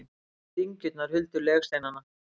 Heilu dyngjurnar huldu legsteinana.